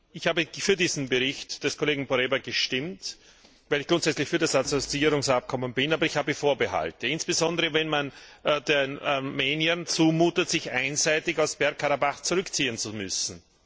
Ich habe für diesen Bericht des Kollegen Poręba gestimmt, weil ich grundsätzlich für das Assoziierungsabkommen bin. Aber ich habe Vorbehalte, insbesondere wenn man den Armeniern zumutet, sich einseitig aus Bergkarabach zurückziehen zu müssen.